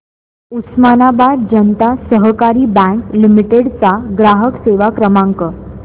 उस्मानाबाद जनता सहकारी bank limited चा ग्राहक सेवा क्रमांक